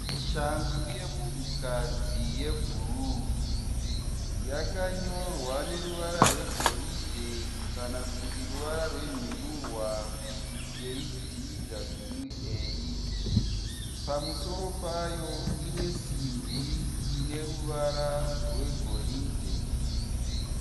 Shangu yemunhukadzi yebhuruu. Yakanyorwa neruvara rwegoridhe kana kuti ruvara rwenhundurwa kuti KDWA. Pamusoro payo ine simbi ine ruvara rwegoridhe.